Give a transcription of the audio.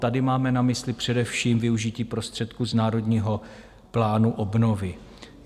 Tady máme na mysli především využití prostředků z Národního plánu obnovy.